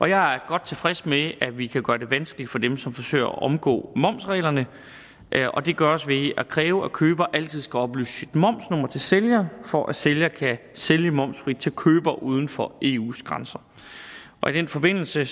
jeg er godt tilfreds med at vi kan gøre det vanskeligt for dem som forsøger at omgå momsreglerne og det gøres ved at kræve at køber altid skal oplyse sit momsnummer til sælger for at sælger kan sælge momsfrit til køber uden for eus grænser i den forbindelse